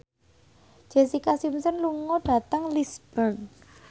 Jessica Simpson lunga dhateng Lisburn